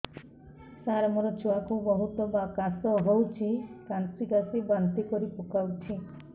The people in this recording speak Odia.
ସାର ମୋ ଛୁଆ କୁ ବହୁତ କାଶ ହଉଛି କାସି କାସି ବାନ୍ତି କରି ପକାଉଛି